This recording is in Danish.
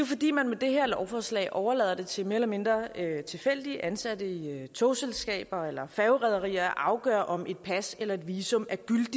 fordi man med det her lovforslag overlader det til mere eller mindre tilfældigt ansatte i togselskaber eller færgerederier at afgøre om et pas eller visum